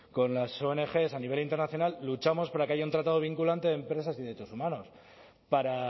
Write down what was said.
con las ong a nivel internacional luchamos para que haya un tratado vinculante de empresas y derechos humanos para